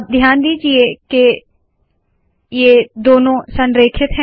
अब ध्यान दीजिए के ये दोनों संरेखित है